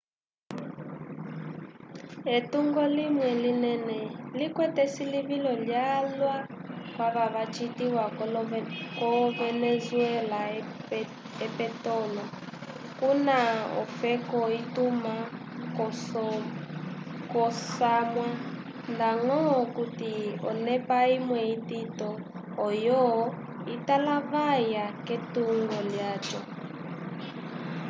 etungo limwe linene likwete esilivilo lyalwa kwava vacitiwa ko venezuela opetolo kuna ofeka ituma k'osamwa ndañgo okuti onepa imwe itito oyo italavaya k'etungo lyaco